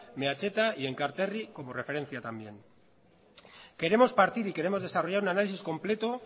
meatzaldea y enkarterri como referencia también queremos partir y queremos desarrollar un análisis completo